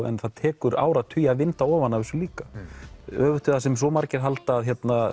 en það tekur áratugi að vinda ofan af þessu líka öfugt við það sem margir halda að